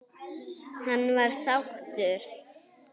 Hann var sáttur.